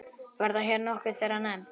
Verða hér nokkur þeirra nefnd.